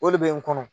O de bɛ n kɔnɔ